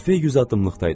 Kafe yüz addımlıqdaydı.